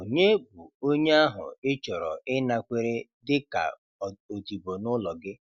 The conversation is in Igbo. Ònye bụ onye ahụ ị chọrọ ịnakwere dị ka odibo n'ụlọ gị?